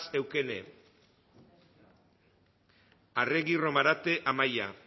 eukene arregi romarate amaia